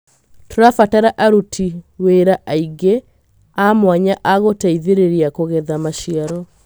Tũrabatara aruti wĩra angĩ a mwanya a gũteitherĩria kũgetha maciaro.